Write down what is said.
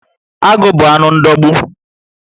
Agụ bu anụ ndogbu